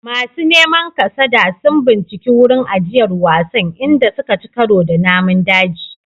Masu neman kasada sun binciki wurin ajiyar wasan, inda suka ci karo da namun daji.